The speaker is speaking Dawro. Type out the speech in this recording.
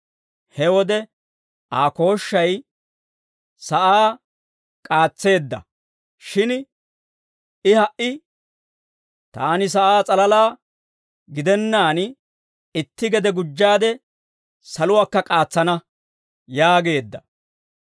He wode Aa kooshshay sa'aa k'aatseedda; shin I ha"i, «Taani sa'aa s'alalaa gidennaan, itti gede gujjaade saluwaakka k'aatsana» yaageedda.